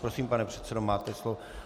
Prosím, pane předsedo, máte slovo.